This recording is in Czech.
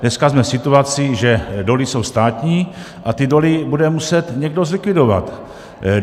Dneska jsme v situaci, že doly jsou státní a ty doly bude muset někdo zlikvidovat.